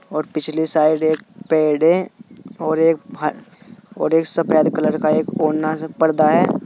और पिछले साइड एक पेड़ है और एक और एक सफेद कलर का एक ओना सा पर्दा है।